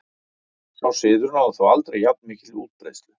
Sá siður náði þó aldrei jafn mikilli útbreiðslu.